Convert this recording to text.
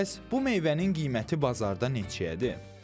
Bəs bu meyvənin qiyməti bazarda neçəyədir?